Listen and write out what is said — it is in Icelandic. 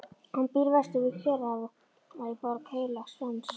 Hann býr vestur við Kyrrahaf í Borg Heilags Frans.